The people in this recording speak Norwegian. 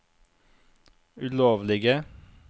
ulovlige